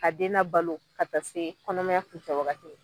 Ka den labalo ka taa se kɔnɔmaya kuncɛ wagati ma.